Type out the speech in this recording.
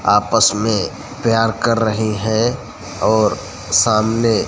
आपस में प्यार कर रहे हैं और सामने--